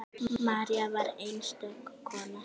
María var einstök kona.